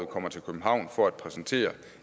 kommer til københavn for at præsentere